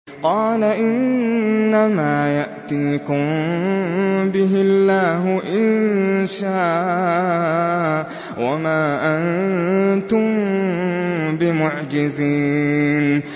قَالَ إِنَّمَا يَأْتِيكُم بِهِ اللَّهُ إِن شَاءَ وَمَا أَنتُم بِمُعْجِزِينَ